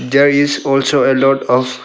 There is also a lot of--